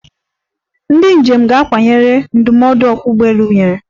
Ndi njem ga-akwanyere ndụmọdụ ọkwa ụgbọelu nyere.